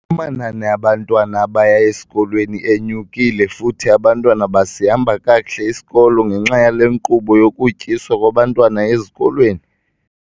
amanani abantwana abaya esikolweni enyukile futhi abantwana basihamba kakuhle isikolo ngenxa yale nkqubo yokutyiswa kwabantwana ezikolweni.